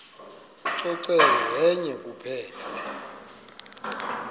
ucoceko yenye kuphela